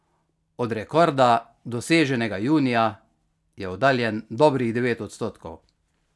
Od rekorda, doseženega junija, je oddaljen dobrih devet odstotkov.